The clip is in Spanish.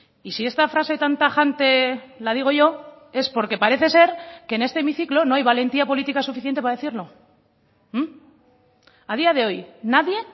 y si esta frase tan tajante la digo yo es porque parece ser que en este hemiciclo no hay valentía política suficiente para decirlo a día de hoy nadie